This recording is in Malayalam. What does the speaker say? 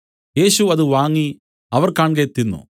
യേശു അത് വാങ്ങി അവർ കാൺകെ തിന്നു